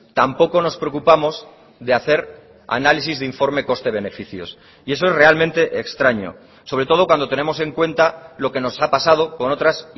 tampoco nos preocupamos de hacer análisis de informe coste beneficios y eso es realmente extraño sobre todo cuando tenemos en cuenta lo que nos ha pasado con otras